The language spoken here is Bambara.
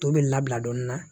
To bɛ labila dɔɔnin na